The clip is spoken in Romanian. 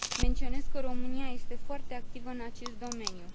Menționez că România este foarte activă în acest domeniu.